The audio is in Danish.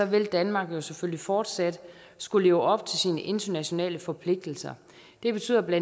vil danmark jo selvfølgelig fortsat skulle leve op til sine internationale forpligtelser det betyder bla